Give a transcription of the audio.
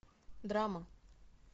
драма